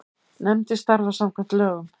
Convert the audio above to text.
Nefndin starfar samkvæmt lögum.